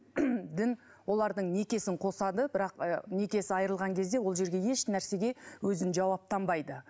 дін олардың некесін қосады бірақ ы некесі айырылған кезде ол жерге ешнәрсеге өзін жауаптанбайды